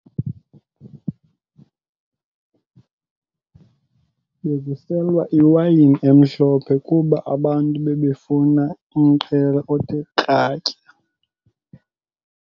Bekuselwa iwayini emhlophe kuba abantu bebefuna umqhele othe kratya.